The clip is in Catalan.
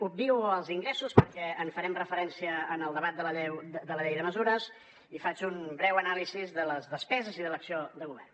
obvio els ingressos perquè en farem referència en el debat de la llei de mesures i faig una breu anàlisi de les despeses i de l’acció de govern